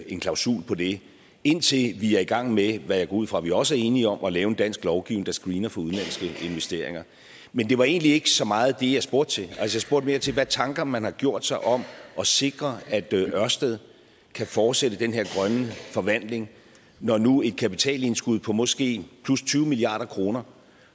en klausul på det indtil vi er i gang med hvad jeg går ud fra vi også er enige om at lave en dansk lovgivning der screener for udenlandske investeringer men det var egentlig ikke så meget det jeg spurgte til jeg spurgte mere til hvad tanker man har gjort sig om at sikre at ørsted kan fortsætte den her grønne forvandling når nu et kapitalindskud på måske 20 milliard kr